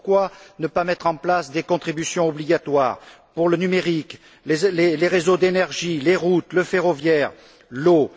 Pourquoi ne pas mettre en place des contributions obligatoires pour le numérique, les réseaux d'énergie, les routes, le ferroviaire, l'eau?